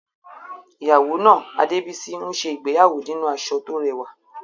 Ìyàwó náà, Adebisi, ń ṣe ìgbéyàwó nínú aṣọ tó rẹwà.